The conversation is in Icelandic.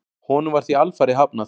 Honum var því alfarið hafnað.